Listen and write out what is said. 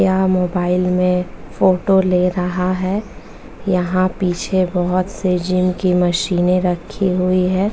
यह मोबाइल में फोटो ले रहा है यहाँ पीछे बहुत सी जिम की मशीनें रखी हुई है।